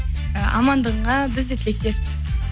амандығыңа біз де тілектеспіз